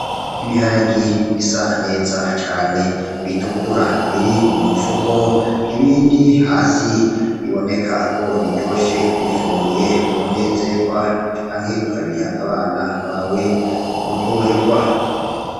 Ibiharage bisa neza cane bitukura biri mu mufuko, ibindi hasi biboneka ko biryoshe. Ubifunguye wonezerwa canke ukabiha abana bawe boryoherwa.